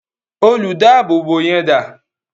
Olùdáábòbò yẹn dà?